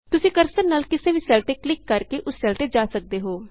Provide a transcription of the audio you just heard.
ਤੁਸੀਂ ਕਰਸਰ ਨਾਲ ਕਿਸੇ ਵੀ ਸੈੱਲ ਤੇ ਕਲਿਕ ਕਰਕੇ ਉਸ ਸੈੱਲ ਤੇ ਜਾ ਸਕਦੇ ਹੋ